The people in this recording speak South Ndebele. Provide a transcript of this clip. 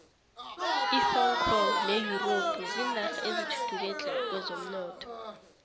ihong kong ne europe zinarha ezithuthuke tle kwezomnotho